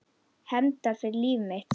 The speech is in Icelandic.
Hefndar fyrir mitt líf.